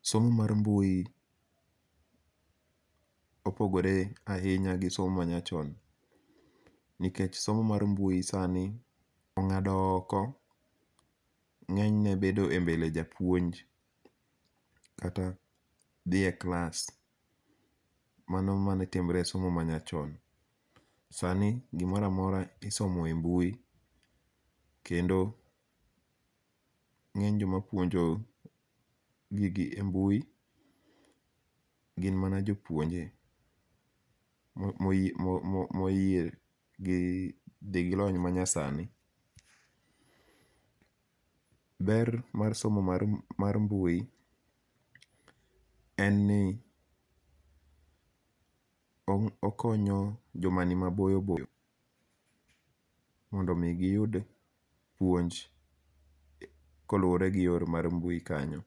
Somo mar mbui opogore ahinya gi somo manyachon, nikech somo mar mbui sani onga'do oko nge'nyne bedo e mbele japuonj kata thie klas mano mane timre e somo manyachon, sani gimoro amoro isomoe mbui kendo nge'ny jomapuonjo gigi e mbui gin mana jopuonje moyie gi thi gi lony manyasani, ber mar somo mar mbui en ni okonyo jomani maboyo boyo mondo mi giyud puonjo kolure gi yor mar mbui kanyo.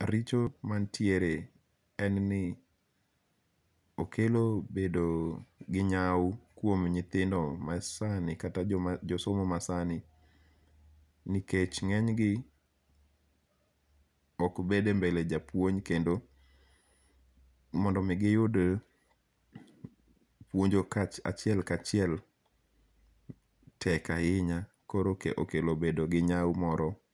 Richo mantiere en ni okelo bedo gi nyau kuom nyithindo masani kata jomasomo masani nikech nge'nygi okbede mbele japuonj kendo mondo mi giyud puonjo kachiel kachiel tek ahinya koro okelo bedo gi nyau moro.